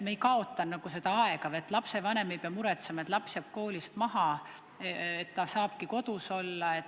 Nii ei kaotaks me aega ja lapsevanem ei peaks muretsema, et laps jääb koolitöös maha, ja laps saabki kodus olla.